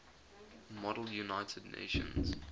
model united nations